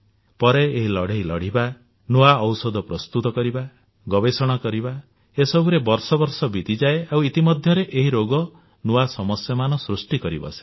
ପରେ ଏହି ଲଢ଼େଇ ଲଢ଼ିବା ନୂଆ ଔଷଧ ପ୍ରସ୍ତୁତ କରିବ ଗବେଷଣା କରିବା ଏସବୁରେ ବର୍ଷ ବର୍ଷ ବିତିଯାଏ ଆଉ ଇତି ମଧ୍ୟରେ ଏହି ରୋଗ ନୂଆ ସମସ୍ୟାମାନ ସୃଷ୍ଟି କରିବସେ